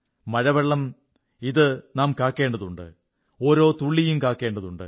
മഴവെള്ളം ഇത് നാം കാക്കേണ്ടതുണ്ട് ഓരോ തുള്ളിയും കാക്കേണ്ടതുണ്ട്